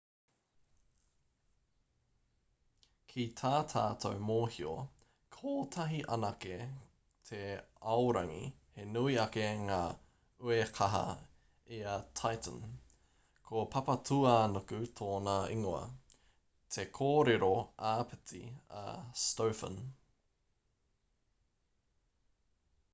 ki tā tātou mōhio kotahi anake te aorangi he nui ake ngā uekaha i a titan ko papatūānuku tōna ingoa te kōrero āpiti a stofan